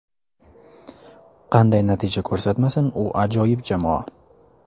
Qanday natija ko‘rsatmasin, u ajoyib jamoa.